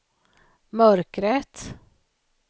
mörkret